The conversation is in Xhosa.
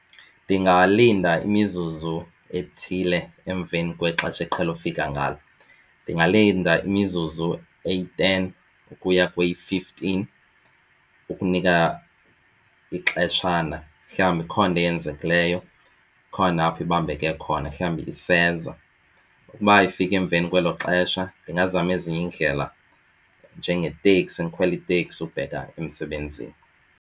Ndingalinda imizuzu ethile emveni kwexesha eqhele ufika ngalo. Ndingalinda imizuzu eyi-ten ukuya kweyi-fifteen ukunika ixeshana mhlawumbi ikhona into eyenzekileyo, ikhona apho ibambeke khona mhlawumbi iseza. Ukuba ifike emveni kwelo xesha ndingazama ezinye iindlela njengeteksi ndikhwele iteksi ukubheka emsebenzini.